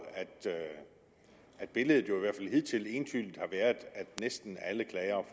at billedet jo i hvert fald hidtil entydigt har været at næsten alle klagere